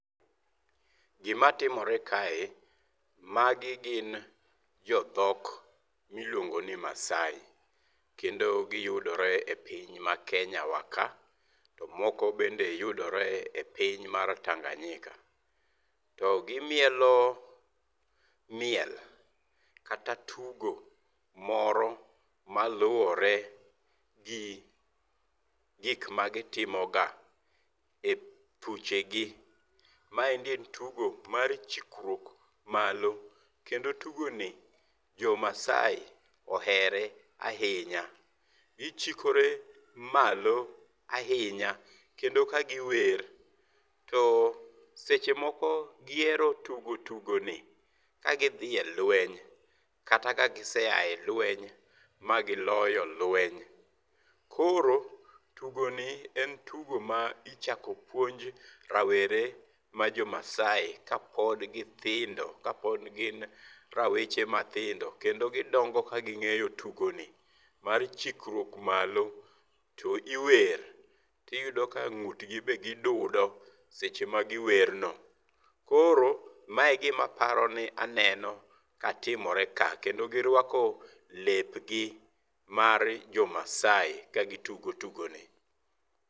Gima timorekae, magi gin jo dhok miluongo ni Maasai. Kendo giyudore e piny ma Kenya wa ka, to moko bende yudore e piny mar Tanganyika. To gimiolo miel kata tugo moro maluwore gi gik magitimo ga e thuche gi. Maendi en tugo mar chukruok malo, kendo tugo ni jo Maasai ohere ahinya. Gichikore malo ahinya kendo ka giwer. To seche moko gihero tugo tugo ni ka gidhi e lweny kata kagise a e lweny magiloyo lweny. Koro tugo ni en tugo ma ichako puonj rawere ma jo Maasai ka pod githindo, kapod gin raweche mathindo kendo gidongo kaging'eyo tugo ni mar chikruok malo to iwer. To iyudo ka ng'ut gi be gidudo seche ma giwer no. Koro mae gima aparo ni aneno ka timore ka. Kendo girwako lep gi mar jo Maasai ka gitugo tugo ni.